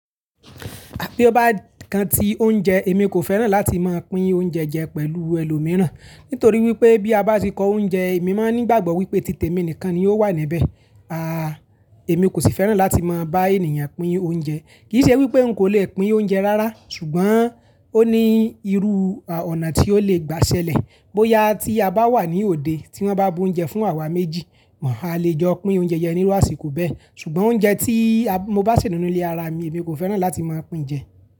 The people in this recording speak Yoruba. Bí ó bá kan ti oúnjẹ, èmi kò fẹ́ràn láti máa pín oúnjẹ jẹ pẹ̀lú ẹlòmíràn. Nítorí wípé bí a bá ti kọ oúnjẹ, èmi máa ń ní ìgbàgbọ́ wípé títè mi nìkan ni ó wà níbẹ̀. Àà, èmi kò sì fẹ́ràn láti máa bá ènìyàn pín oúnjẹ. Kì í ṣe wípé n kò le pín oúnjẹ rárá, ṣùgbọ́n ó ní irú ọ̀nà tí ó le gbà ṣẹlẹ̀. Bóyá tí a bá wà ní òde tí wọ́n bá bu oúnjẹ fún àwa méjì, àá le jọ pín oúnjẹ jẹ nílò àsìkò bẹ́ẹ̀. Ṣùgbọ́n oúnjẹ tí a mo bá sì nínú ilé ara mi, èmi kò fẹ́ràn láti máa pín jẹ.